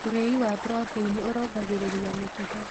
Ũrĩĩ wa proteĩnĩ ũrũngagĩrĩrĩa mĩkĩha